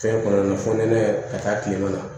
Fɛn kɔnɔna na fonɛnɛ ka taa kilema na